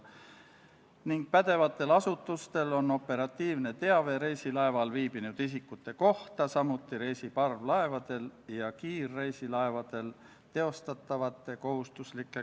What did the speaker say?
Riigikaitsekomisjon arutas eelnõu enne teisele lugemisele esitamist oma k.a 21. oktoobri istungil ning kiitis konsensuslikult heaks eelnõu teise lugemise teksti ja seletuskirja.